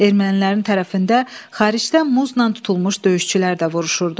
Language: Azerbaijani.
Ermənilərin tərəfində xaricdən muzla tutulmuş döyüşçülər də vuruşurdu.